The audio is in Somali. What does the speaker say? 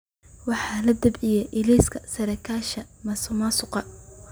Waxaa la daabacay liiska saraakiisha musuqmaasuqa.